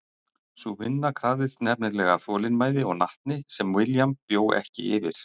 Sú vinna krafðist nefnilega þolinmæði og natni sem William bjó ekki yfir.